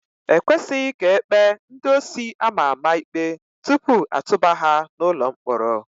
Ekwesịghị ka ekpee ndị osi ama ama ikpe tupu atụba ha n'ụlọ mkpọrọ.